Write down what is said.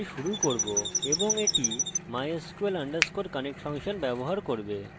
এটি অত্যন্ত গুরুত্বপূর্ণ ফাংশন যা mysql ডাটাবেসের সাথে জুড়তে সক্ষম করে